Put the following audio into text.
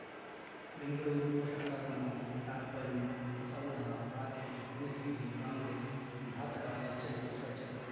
ಬೆಂಗಳೂರು ಪೋಷಕರಋಣ ಟರ್ಬೈನು ಸೌಧ ರಾಕೇಶ್ ತನಿಖೆಗೆ ಕಾಂಗ್ರೆಸ್ ಘಾತಕಾರಿ ಎಚ್ಚರಿಕೆ ಸ್ವಚ್ಛತೆ